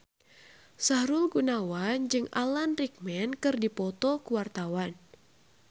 Sahrul Gunawan jeung Alan Rickman keur dipoto ku wartawan